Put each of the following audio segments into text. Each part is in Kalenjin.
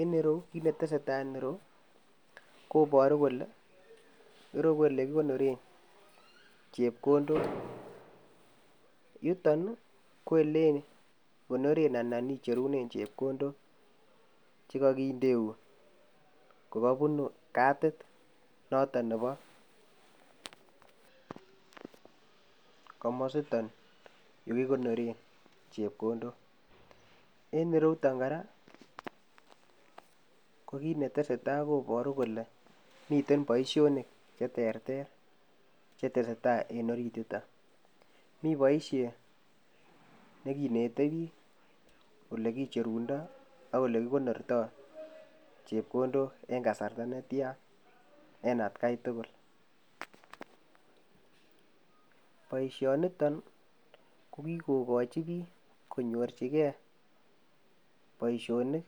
En yeru, kiit ne tesei tai eng yeru koboar kole eru ole kikonoren chepkondok. Yuton, ko ole konoren anan icherunen chepkondok che kakindeun ko kabunu kadit noto nebo komositon yo kikonoren chepkondok. Eng yiruton kora ko kii ne tesetai koboru kole miten boisionik cheterter che tesetai eng orituto, mi boisie ne kinetei ole kicherundo ak ole kikonortoi chepkondok eng kasarta netya en atkai tukul. Boisioniton ko kikokochi biik konyorjigei boisionik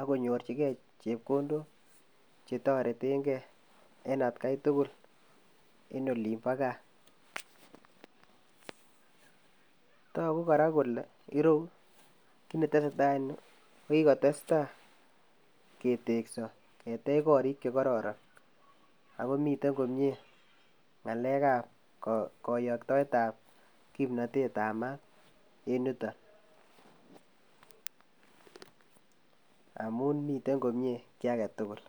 akonyorjigei chepkondok che toretengei en atakai tukul en olimbo gaa. Toku kora kole ireku kin netesetai en yu kikotestai ketekso ketech korik che kororon ako miten komie ng'alekab kayoktoetab kimnatetab maat en yuto amun miten komie kii age tukul.